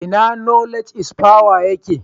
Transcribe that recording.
Ina Knowledge is power yake?